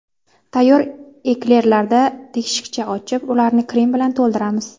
Tayyor eklerlarda teshikcha ochib, ularni krem bilan to‘ldiramiz.